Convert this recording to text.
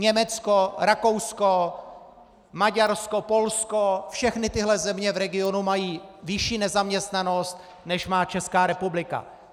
Německo, Rakousko, Maďarsko, Polsko - všechny tyhle země v regionu mají vyšší nezaměstnanost, než má Česká republika.